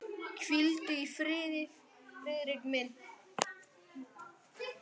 Hvíldu í friði, Friðrik minn.